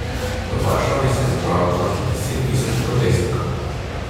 V Varšavi se je zbralo kakih deset tisoč protestnikov.